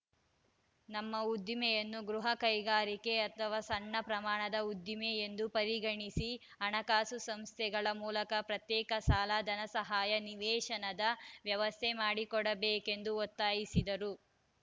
ನಮ್ಮ ಉದ್ದಿಮೆಯನ್ನು ಗೃಹ ಕೈಗಾರಿಕೆ ಅಥವಾ ಸಣ್ಣ ಪ್ರಮಾಣದ ಉದ್ದಿಮೆ ಎಂದು ಪರಿಗಣಿಸಿ ಹಣಕಾಸು ಸಂಸ್ಥೆಗಳ ಮೂಲಕ ಪ್ರತ್ಯೇಕ ಸಾಲ ಧನ ಸಹಾಯ ನಿವೇಶನದ ವ್ಯವಸ್ಥೆ ಮಾಡಿಕೊಡಬೇಕೆಂದು ಒತ್ತಾಯಿಸಿದರು